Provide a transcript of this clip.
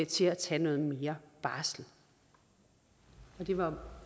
til at tage noget mere barsel det var